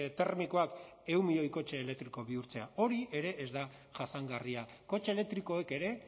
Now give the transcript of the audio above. termikoak ehun milioi kotxe elektriko bihurtzea hori ere ez da jasangarria kotxe elektrikoek ere